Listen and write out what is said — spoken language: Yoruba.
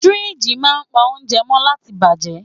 Firiji máa ń pa oúnjẹ mó láti bàjẹ́.